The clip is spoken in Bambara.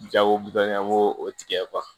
Jago dɔnniya b'o o tigɛ